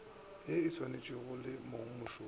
ye e saenetšwego le mongmošomo